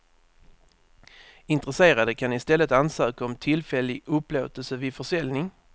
Intresserade kan i stället ansöka om tillfällig upplåtelse vid försäljning.